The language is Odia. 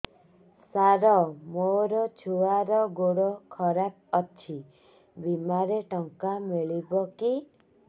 ସାର ମୋର ଛୁଆର ଗୋଡ ଖରାପ ଅଛି ବିମାରେ ଟଙ୍କା ମିଳିବ କି